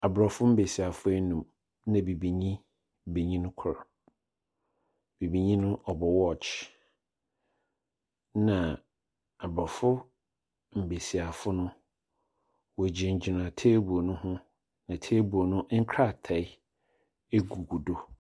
Aborɔfo mbesiafo enum, na Bibinyi benyin kor. Bibinyi no bɔ watch, ɛna Aborɔfo mbesiafo no wogyingyina table no ho. Na table no. nkrataa gugu do.